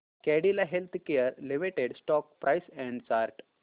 Cadila healthcare limited stock price and chart